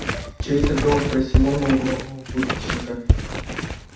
чей это дом спросил он у углового будочника